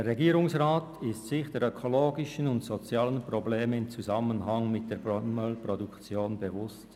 Der Regierungsrat ist sich der ökologischen und sozialen Probleme im Zusammenhang mit der Palmölproduktion bewusst.